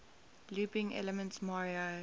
looping elements mario